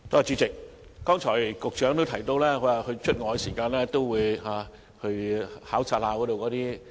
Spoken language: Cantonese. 主席，剛才局長亦提到，他外訪時都會到熟食攤檔考察。